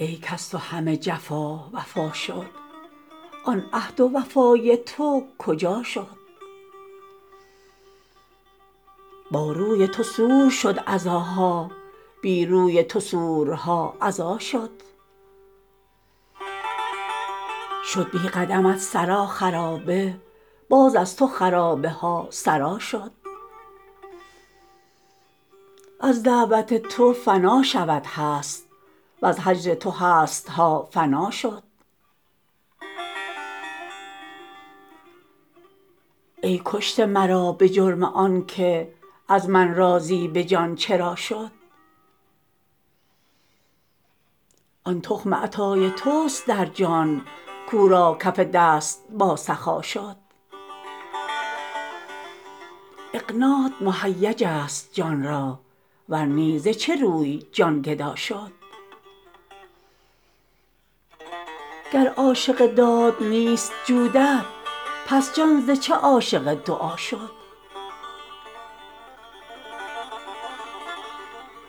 ای کز تو همه جفا وفا شد آن عهد و وفای تو کجا شد با روی تو سور شد عزاها بی روی تو سورها عزا شد شد بی قدمت سرا خرابه باز از تو خرابه ها سرا شد از دعوت تو فنا شود هست وز هجر تو هست ها فنا شد ای کشته مرا به جرم آنک از من راضی به جان چرا شد آن تخم عطای تست در جان کو را کف دست باسخا شد اعنات مهیجست جان را ور نی ز چه روی جان گدا شد گر عاشق داد نیست جودت پس جان ز چه عاشق دعا شد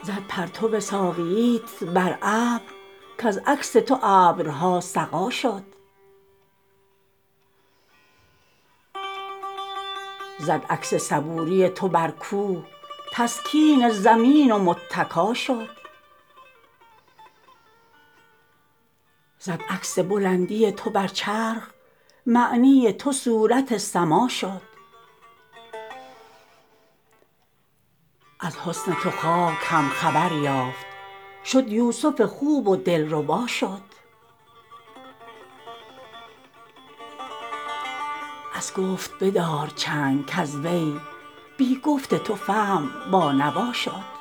زد پرتو ساقییت بر ابر کز عکس تو ابرها سقا شد زد عکس صبوری تو بر کوه تسکین زمین و متکا شد زد عکس بلندی تو بر چرخ معنی تو صورت سما شد از حسن تو خاک هم خبر یافت شد یوسف خوب و دلربا شد از گفت بدار چنگ کز وی بی گفت تو فهم بانوا شد